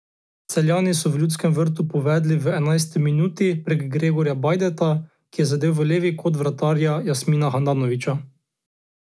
Celjani so v Ljudskem vrtu povedli v enajsti minuti prek Gregorja Bajdeta, ki je zadel v levi kot vratarja Jasmina Handanovića.